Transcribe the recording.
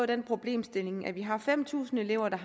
den problemstilling at vi har fem tusind elever der